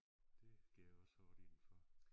Det går jeg også hårdt ind for